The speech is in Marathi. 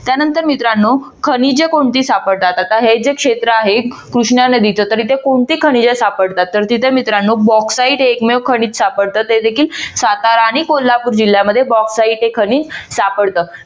त्यानंतर मित्रांनो खनिजे कोणती सापडतात? आता हे जे क्षेत्र आहे कृष्णा नदीचं तर येथे कोणती खनिजे सापडतात तर तिथे मित्रानो Bauxite हे एकमेव खनिज सापडत ते देखील सातारा आणि कोल्हापूर जिल्यामध्ये Bauxite हे खनिज सापडत.